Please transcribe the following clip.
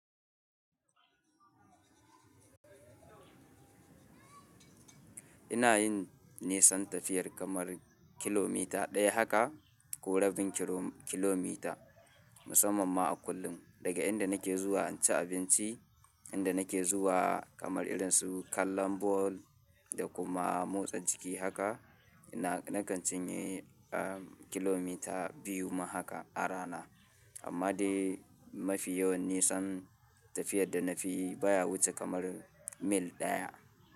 Ina yin nisan tafiyar kamar kilomita ɗaya haka ko rabin kiro- kilomita, musamman ma a kullum. Daga inda nake zuwa in ci abinci, inda nake zuwa kamar irin su kallon ball da kuma motsa jiki haka, ina- nakan cinye, ah, kilomita biyu ma haka a rana. Amma dai mafi yawan nisan tafiyar da na fi yi baya wuce kamar mil ɗaya.